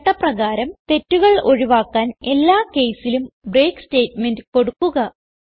ചട്ട പ്രകാരം തെറ്റുകൾ ഒഴിവാക്കുവാൻ എല്ലാ caseലും ബ്രേക്ക് സ്റ്റേറ്റ്മെന്റ് കൊടുക്കുക